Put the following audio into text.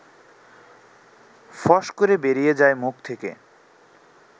ফস করে বেরিয়ে যায় মুখ থেকে